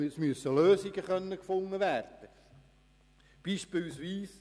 Es müssen Lösungen gefunden werden können.